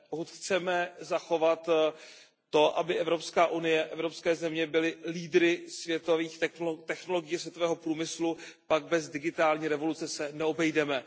Pokud chceme zachovat to, aby Evropská unie, evropské země byly lídry světových technologií a světového průmyslu, pak bez digitální revoluce se neobejdeme.